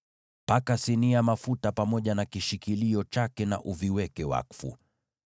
Paka sinia mafuta pamoja na kishikilio chake na uviweke wakfu.